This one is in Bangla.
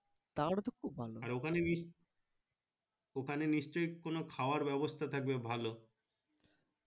ওখানে নিস ওখানে নিশ্চয় কোনো খাওয়ার ব্যাবস্তা থাকবে ভালো